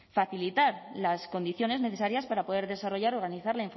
facilitar las condiciones necesarias para poder desarrollar organizar